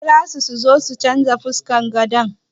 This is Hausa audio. A kirawo su su change fuskar gadon nan.